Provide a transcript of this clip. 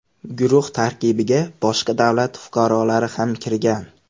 Guruh tarkibiga boshqa davlat fuqarolari ham kirgan.